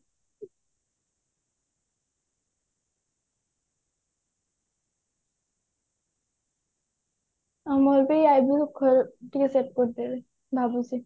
ମୋର ବି eyebrow ଟିକେ shave କରଦେବି ଭାବୁଛି